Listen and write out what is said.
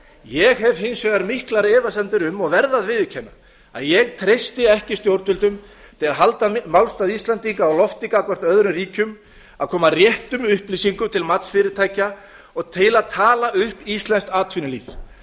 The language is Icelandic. ég hef hins vegar miklar efasemdir um og verð að viðurkenna það að ég treysti ekki stjórnvöldum til að halda málstað íslendinga á lofti gagnvart öðrum ríkjum að koma réttum upplýsingum til matsfyrirtækja og til að tala upp íslenskt atvinnulíf